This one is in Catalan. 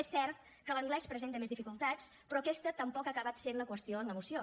és cert que l’anglès presenta més dificultats però aquesta tampoc ha acabat sent la qüestió en la moció